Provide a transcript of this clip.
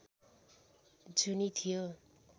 जुनि थियो